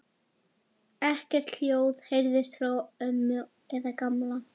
Ekkert hljóð heyrðist frá ömmu eða Gamla.